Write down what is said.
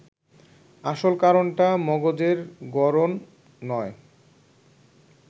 আসল কারণটা মগজের গড়ন নয়